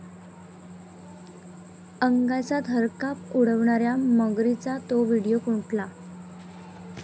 अंगाचा थरकाप उडवणाऱ्या मगरींचा 'तो' व्हिडिओ कुठला?